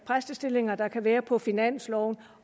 præstestillinger der kan være på finansloven